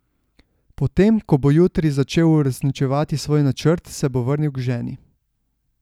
Potem ko bo jutri začel uresničevati svoj načrt, se bo vrnil k ženi.